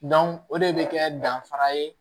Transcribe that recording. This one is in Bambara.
o de bɛ kɛ danfara ye